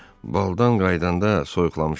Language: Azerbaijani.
Baldan qayıdanda soyuqlamışam.